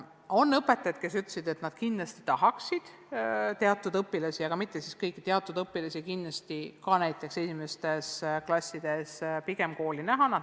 On õpetajaid, kes ütlesid, et nad tahaksid teatud õpilasi näha, aga mitte kõiki, üksnes teatud õpilasi, näiteks esimestes klassides.